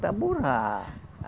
Para borrar.